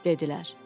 Dedilər: